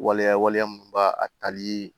Waleya waleya minnu b'a a tali